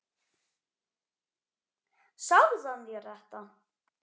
Sagði hann þér þetta?